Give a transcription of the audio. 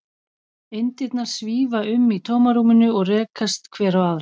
Eindirnar svífa um í tómarúminu og rekast hver á aðra.